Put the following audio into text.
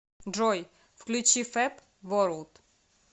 джой включи фэб ворлд